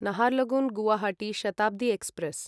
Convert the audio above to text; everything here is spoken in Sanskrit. नाहरलगुन् गुवाहाटी शताब्दी एक्स्प्रेस्